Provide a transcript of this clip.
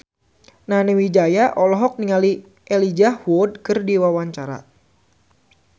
Nani Wijaya olohok ningali Elijah Wood keur diwawancara